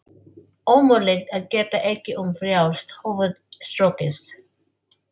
Ömurlegt að geta ekki um frjálst höfuð strokið.